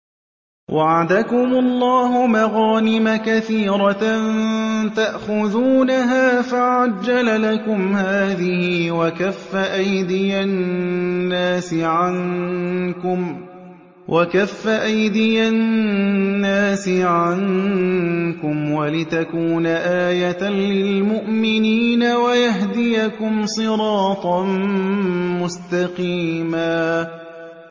وَعَدَكُمُ اللَّهُ مَغَانِمَ كَثِيرَةً تَأْخُذُونَهَا فَعَجَّلَ لَكُمْ هَٰذِهِ وَكَفَّ أَيْدِيَ النَّاسِ عَنكُمْ وَلِتَكُونَ آيَةً لِّلْمُؤْمِنِينَ وَيَهْدِيَكُمْ صِرَاطًا مُّسْتَقِيمًا